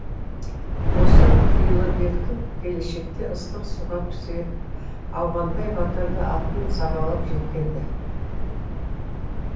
осы қилыбекті келешекте ыстық суға пісіретін ауғанбай батыр да атын сабалап жеткен ді